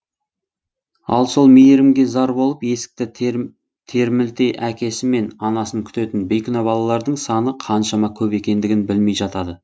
ал сол мейірімге зар болып есікті термілте әкесі мен анасын күтетін бейкүнә балалардың саны қаншама көп екендігін білмей жатады